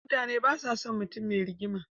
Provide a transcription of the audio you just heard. Mutane basa son mutun me rigima